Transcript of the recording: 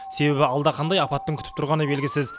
себебі алда қандай апаттың күтіп тұрғаны белгісіз